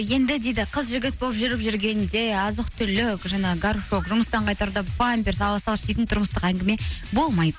енді дейді қыз жігіт болып жүріп жүргенде азық түлік жаңағы горшок жұмыстан қайтарда памперс ала салшы деген тұрмыстық әңгіме болмайды